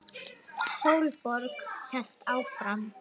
Sólborg hélt áfram.